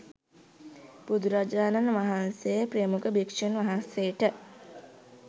බුදුරජාණන් වහන්සේ ප්‍රමුඛ භික්ෂූන් වහන්සේට